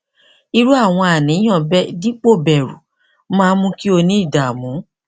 irú àwọn àníyàn bẹẹ dípò bẹru máa ń mú kí o ní ìdààmú